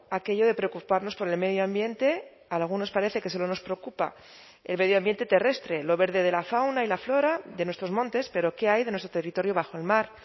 aquello de preocuparnos por el medio ambiente a algunos parece que solo nos preocupa el medio ambiente terrestre lo verde de la fauna y la flora de nuestros montes pero qué hay de nuestro territorio bajo el mar